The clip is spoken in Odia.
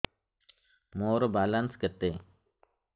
ମୋର ବାଲାନ୍ସ କେତେ